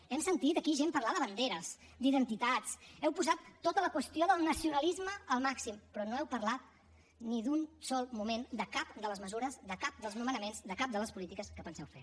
hem sentit aquí gent parlar de banderes d’identitats heu posat tota la qüestió del nacionalisme al màxim però no heu parlat ni un sol moment de cap de les mesures de cap dels nomenaments de cap de les polítiques que penseu fer